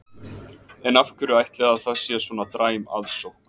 En af hverju ætli að það sé svona dræm aðsókn?